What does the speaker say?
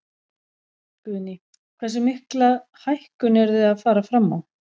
Guðný: Hversu mikla hækkun eruð þið að fara fram á?